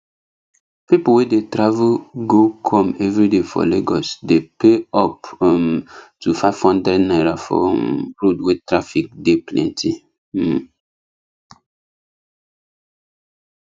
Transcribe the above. people wey dey travel go come everyday for lagos dey pay up um to five hundred naira for um road wey traffic dey plenty um